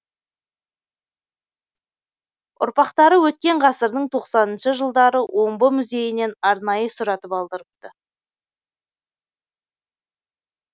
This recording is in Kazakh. ұрпақтары өткен ғасырдың тоқсаныншы жылдары омбы музейінен арнайы сұратып алдырыпты